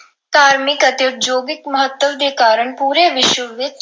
ਧਾਰਮਿਕ ਅਤੇ ਉਦਯੋਗਿਕ ਮਹੱਤਵ ਦੇ ਕਾਰਨ ਪੂਰੇ ਵਿਸ਼ਵ ਦੇ ਵਿੱਚ